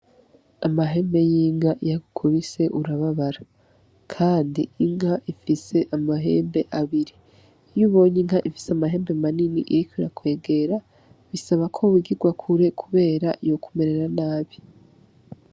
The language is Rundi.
Amahembe y'inka iy'agukubise urababara . Kandi inka ifise amahembe abiri , iy'ubonye inka ifis'amahembe manini irik'irakwegera bisaba ko wigirwa kure kubera yokumerera nabi.